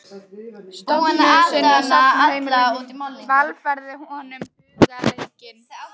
stofunni sinni í safnaðarheimilinu, velferð hennar var honum hugleikin.